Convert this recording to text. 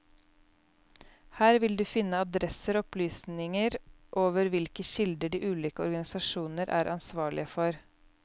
Her vil du finne adresser og opplysningerover hvilke kilder de ulike organisasjoner er ansvarlige for.